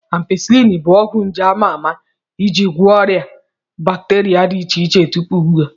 Ampisilin bụ ọgwụ nje ama ama ị ji gwọ ọrịa bakteria dị iche iche tupu ugbu a.